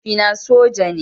Mahaifina soja ne.